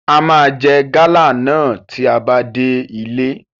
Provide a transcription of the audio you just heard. A máa jẹ gálà náà tí a bá dé ilé.